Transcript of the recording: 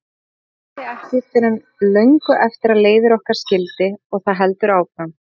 Þetta byrjaði ekki fyrr en löngu eftir að leiðir okkar skildi og það heldur áfram.